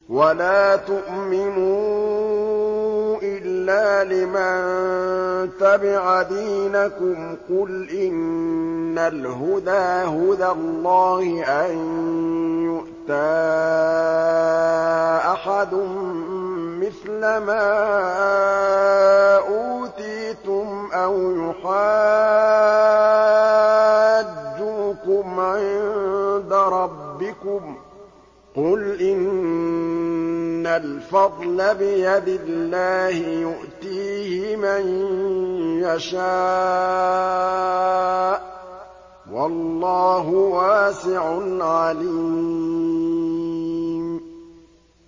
وَلَا تُؤْمِنُوا إِلَّا لِمَن تَبِعَ دِينَكُمْ قُلْ إِنَّ الْهُدَىٰ هُدَى اللَّهِ أَن يُؤْتَىٰ أَحَدٌ مِّثْلَ مَا أُوتِيتُمْ أَوْ يُحَاجُّوكُمْ عِندَ رَبِّكُمْ ۗ قُلْ إِنَّ الْفَضْلَ بِيَدِ اللَّهِ يُؤْتِيهِ مَن يَشَاءُ ۗ وَاللَّهُ وَاسِعٌ عَلِيمٌ